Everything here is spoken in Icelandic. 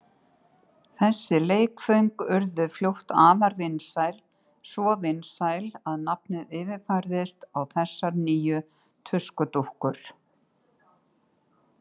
Þessi leikföng urðu fljótt afar vinsæl, svo vinsæl að nafnið yfirfærðist á þessar nýju tuskudúkkur.